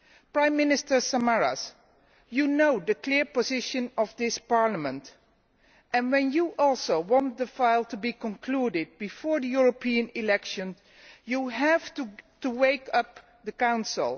Prime Minister Samaras, you know the clear position of this Parliament, and if you also want the file to be concluded before the European elections, you have to wake up the Council.